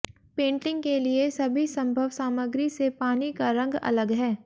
painting के लिए सभी संभव सामग्री से पानी का रंग अलग है